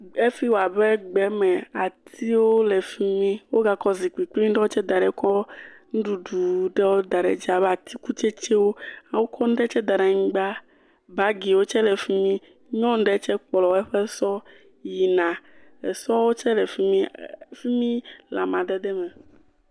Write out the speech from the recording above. Efi wɔ abe gbeme. Atiwo le fi mi. Wogakɔ zikpui grin ɖewo tse da ɖe kɔ nuɖuɖu ɖewo daɖi dzi abe atikutsetse. Wokɔ nu ɖe tse da ɖe anyigba. Bagiwo tse le fi mi. Nyɔnu ɖe tse kplɔ eƒe sɔ yina esɔ tse le fi mi. Fi mi le amadede me.